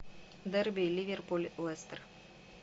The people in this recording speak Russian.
дерби ливерпуль лестер